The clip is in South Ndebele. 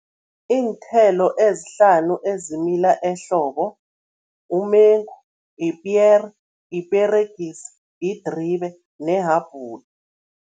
Iinthelo ezihlanu ezimila ehlobo, umengu, ipiyere, iperegisi, yidribe nehabhula